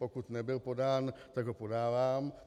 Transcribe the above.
Pokud nebyl podán, tak ho podávám.